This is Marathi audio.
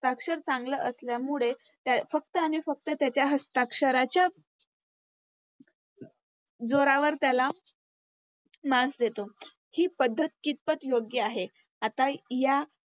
हस्ताक्षर चांगलं असल्यामुळे फक्त आणि फक्त त्याच्या हस्ताक्षराच्या जोरावर त्याला Marks देतो. हि पद्धत कितपत योग्य आहे. आता या